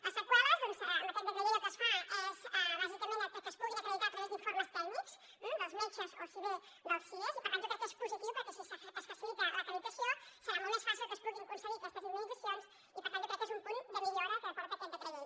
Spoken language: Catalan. les seqüeles en aquest decret llei el que es fa és bàsicament que es puguin acreditar a través d’informes tècnics dels metges o bé dels sies i per tant jo crec que és positiu perquè si es facilita l’acreditació serà molt més fàcil que es puguin concedir aquestes indemnitzacions i per tant jo crec que és un punt de millora que porta aquest decret llei